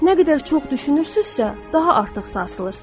Nə qədər çox düşünürsünüzsə, daha artıq sarsılırsınız.